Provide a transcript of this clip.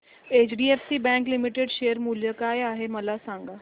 HDFC bank limited share मूल्य काय आहे मला सांगा